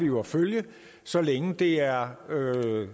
jo at følge det så længe det er